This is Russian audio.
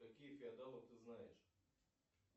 каких феодалов ты знаешь